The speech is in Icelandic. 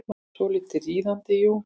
Svolítið riðandi, jú.